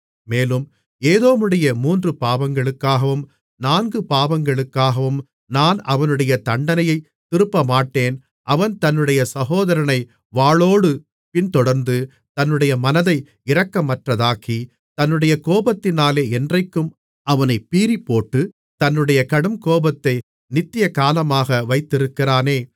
மேலும் ஏதோமுடைய மூன்று பாவங்களுக்காகவும் நான்கு பாவங்களுக்காகவும் நான் அவனுடைய தண்டனையைத் திருப்பமாட்டேன் அவன் தன்னுடைய சகோதரனைப் வாளோடு பின்தொடர்ந்து தன்னுடைய மனதை இரக்கமற்றதாக்கி தன்னுடைய கோபத்தினாலே என்றைக்கும் அவனைப் பீறிப்போட்டு தன்னுடைய கடுங்கோபத்தை நித்திய காலமாக வைத்திருக்கிறானே